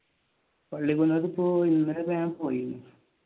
ഇന്നലെ ഞാൻ പോയി.